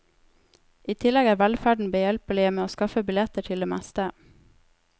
I tillegg er velferden behjelpelige med å skaffe billetter til det meste.